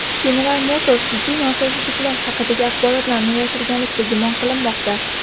General Motors jiddiy nosozliklar haqidagi axborotlarni yashirganlikda gumon qilinmoqda.